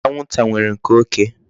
Anwụnta nwere nke oké.